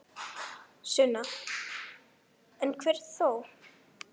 Sunna: En einhver þó?